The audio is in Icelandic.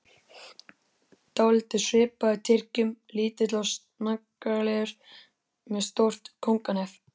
Dálítið svipaður Tyrkjum, lítill og snaggaralegur, með stórt kónganef.